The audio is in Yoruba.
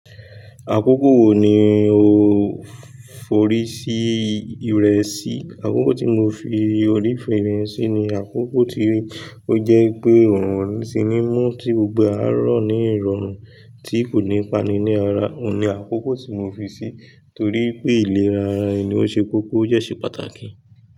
Àkókò wo ni o forí sí ìrẹ sí? Àkókò tí mo fi orí fé sí ni àkókò tí ó jẹ́ pé òrun o ní ti ni mú tí gbogbo e arọ ní ìrọ̀rùn tí kò ní páni ni arà. Oun ní àkókò tí mo fi sí torí pé ìlera ẹni ó ṣe kókó ó de ṣe pàtàkì.